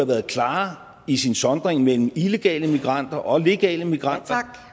været klarere i sin sondring mellem illegale immigranter og legale immigranter